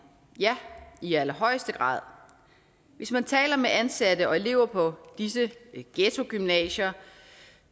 ja i allerhøjeste grad hvis man taler med ansatte og elever på disse ghettogymnasier